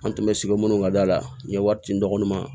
An tun bɛ sigi minnu ka da la n ye wari ci n dɔgɔnin ma